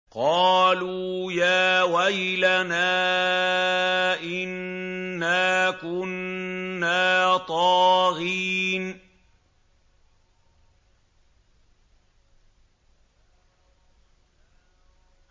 قَالُوا يَا وَيْلَنَا إِنَّا كُنَّا طَاغِينَ